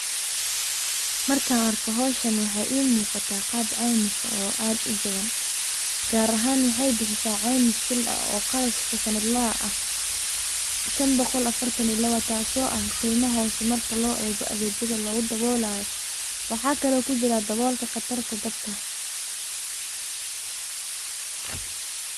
Markan arko howshan waxaa ii muqataa qab ceymis eh oo aad ujaban, gaar ahan waxay bixisaa ceymis shil ah oo qarashka sanadlaha ah shan boqol afartan iyo laba taaso ah qeyma hoose marka loo eego adeegyada lugu daboolayo. waxa kale oo kujiraa dabolka qatar dabka